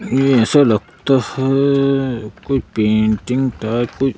ऐसा लगता है कोई पेंटिंग टाइप --